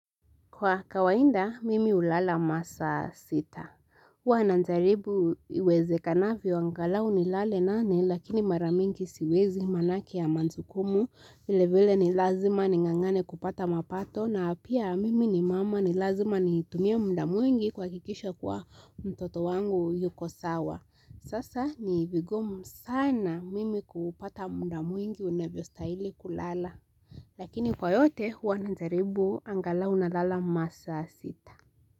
Kwa kawaida, mimi hulala masa sita. Huwa najaribu iwezekanavyo angalau ni lale nane, lakini mara mingi siwezi maanake ya majukumu. Vilevile ni lazima ning'ang'ane kupata mapato, na pia mimi ni mama ni lazima nitumie muda mwingi kuhakikisha kuwa mtoto wangu yuko sawa. Sasa ni vigumu sana mimi kupata muda mwingi unavyostahili kulala. Lakini kwa yote huwa najaribu angalau nalala masa sita.